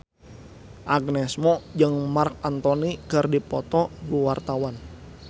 Agnes Mo jeung Marc Anthony keur dipoto ku wartawan